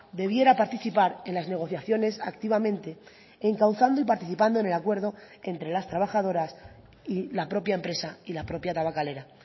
debiera participar en las negociaciones activamente encauzando y participando en el acuerdo entre las trabajadoras y la propia empresa y la propia tabakalera